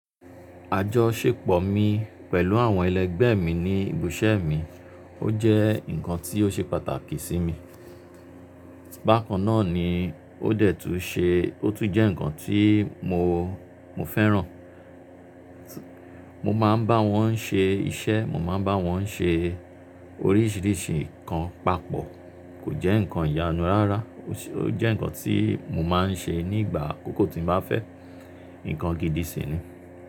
Àjọ ṣèpọ̀ mi pẹ̀lú àwọn ẹlẹgbẹ́ mi ní ibiṣẹ́ mi, ó jẹ́ ǹkan tí ó ṣe pàtàkì sí mi. Bákan náà ni ó tún jẹ́ ǹkan tí mo fẹ́ràn. Mo máa ń bá wọn ṣe iṣẹ́, mo máa ń bá wọn ṣe oríṣìíríṣìí ǹkan papọ̀. Kò jẹ́ ǹkan ìyanu rárá, ó jẹ́ ǹkan tí mo máa ń ṣe nígbà akókó tí ń bá fẹ́ ǹkan gidi sì ni.